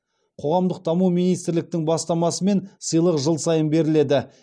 қоғамдық даму министрліктің бастамасымен сыйлық жыл сайын беріледі